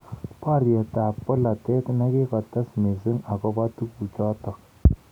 Boriet ab bolotet nikikotes missing akobo tukjotok.